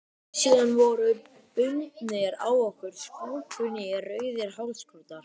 Síðan voru bundnir á okkur splunkunýir rauðir hálsklútar.